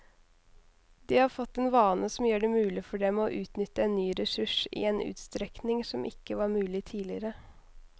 De har fått en vane som gjør det mulig for dem å utnytte en ny ressurs i en utstrekning som ikke var mulig tidligere.